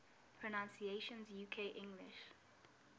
pronunciations uk english